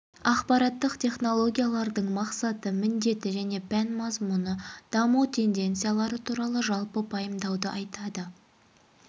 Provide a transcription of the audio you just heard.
ақпараттық технологиялардың мақсаты міндеті және пән мазмұны даму тенденциялары туралы жалпы пайымдауды айтады